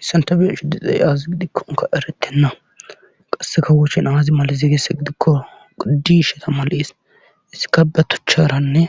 Hissan tabiyashu diixey aazi gidikkonka erettenna qasse kawoochen aazi malize gese gidikko disheta malis issika batocharanne